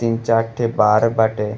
तीन चार ठे बार बाटे।